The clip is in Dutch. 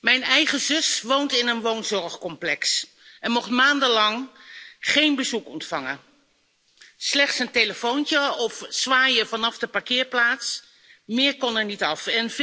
Mijn eigen zus woont in een woon zorgcomplex en mocht maandenlang geen bezoek ontvangen slechts een telefoontje of zwaaien vanaf de parkeerplaats, meer kon er niet af.